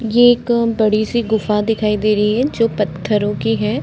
ये एक बड़ी-सी गुफा दिखाई दे रही है जो पत्थरों की है।